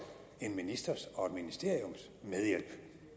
en ministers og et ministeriums medhjælp